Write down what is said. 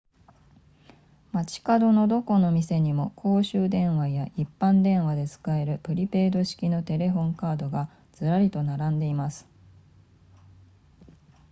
街角のどこの店にも公衆電話や一般電話で使えるプリペイド式のテレホンカードがずらりと並んでいます